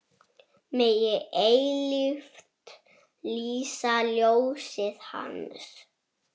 Megi eilíft lýsa ljósið Hans.